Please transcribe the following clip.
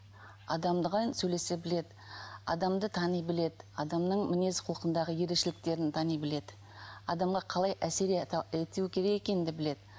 сөйлесе біледі адамды тани біледі адамның мінез құлқындағы ерекшеліктерін тани біледі адамға қалай әсер ету екенін де біледі